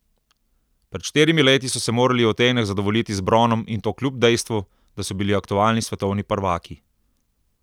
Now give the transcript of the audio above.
Pred štirimi leti so se morali v Atenah zadovoljiti z bronom in to kljub dejstvu, da so bili aktualni svetovni prvaki.